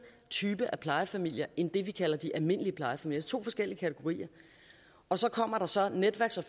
type af plejefamilier end det man kalder de almindelige plejefamilier to forskellige kategorier og så kommer der så netværks og